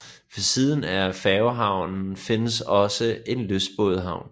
Ved siden af færgehavnen findes også en lystbådehavn